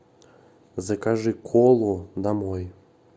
закажи колу домой